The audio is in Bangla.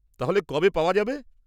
-তাহলে কবে পাওয়া যাবে?